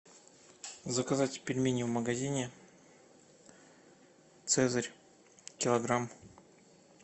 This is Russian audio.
заказать пельмени в магазине цезарь килограмм